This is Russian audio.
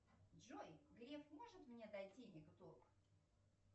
джой греф может мне дать денег в долг